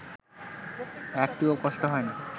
একটুও কষ্ট হয় না